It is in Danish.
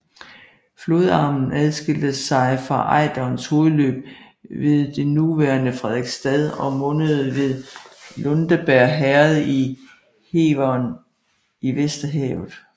Flodarmen adskilte sig fra Ejderens hovedløb ved det nuværende Frederiksstad og mundede ved Lundebjerg Herred i Heveren i Vesterhavet